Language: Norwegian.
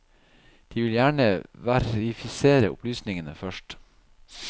De vil gjerne verifisere opplysningene først.